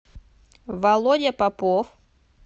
володя попов